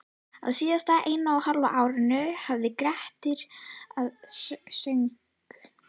Á síðasta eina og hálfa árinu hafði Grettir að sögn